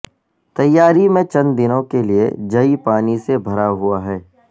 تیاری میں چند دنوں کے لئے جئی پانی سے بھرا ہوا ہے